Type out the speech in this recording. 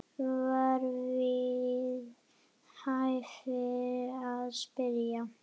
var við hæfi að spyrja.